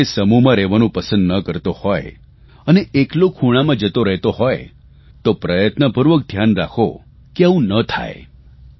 જો તે સમૂહમાં રહેવાનું પસંદ ન કરતો હોય અને એકલો ખૂણામાં રહેતો હોય તો પ્રયત્નપૂર્વક ધ્યાન રાખો કે આવું ન થાય